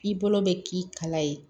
I bolo bɛ k'i kala ye